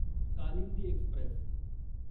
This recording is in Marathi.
कालिंदी एक्स्प्रेस